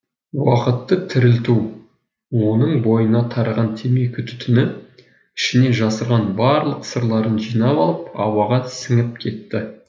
уақытты тірілту оның бойына тараған темекі түтіні ішіне жасырған барлық сырларын жинап алып ауаға сіңіп кетті